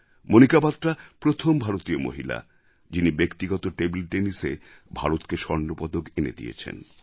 মণিকা বাত্রা প্রথম ভারতীয় মহিলা যিনি ব্যক্তিগত টেবল Tennisএ ভারতকে স্বর্ণপদক এনে দিয়েছেন